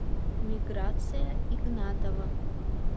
миграция игнатова